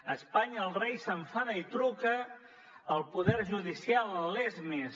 a espanya el rei s’enfada i truca al poder judicial en lesmes